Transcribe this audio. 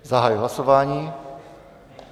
Zahajuji hlasování.